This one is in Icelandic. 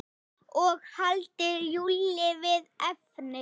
Og halda Júlíu við efnið.